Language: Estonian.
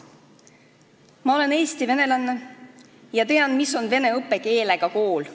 Ma olen Eesti venelane ja tean, mis on vene õppekeelega kool.